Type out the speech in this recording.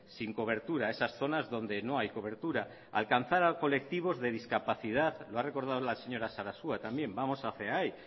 sin cobertura esas zonas donde no hay cobertura alcanzar a colectivos de discapacidad lo ha recordado la señora sarasua también vamos hacia ahí